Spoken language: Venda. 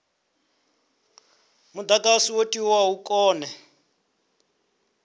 mudagasi wo tiwaho u kone